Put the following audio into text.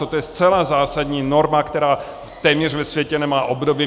Toto je zcela zásadní norma, která téměř ve světě nemá obdoby.